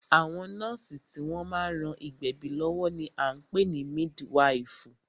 Àwọn nọ́ọ̀sì tí wọ́n má ń ran ìgbẹ̀bí lọ́wọ́ ní a ń pè ní mídwifù.